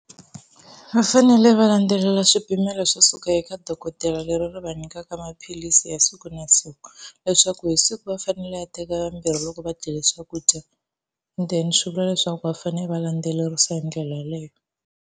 Va fanele va landzelela swipimelo swo suka eka dokodela leri ri va nyikaka maphilisi ya siku na siku, leswaku hi siku va fanele va teka mambirhi loko va dyile swakudya then swi vula leswaku va fanele va landzelerisa hi ndlela yaleyo.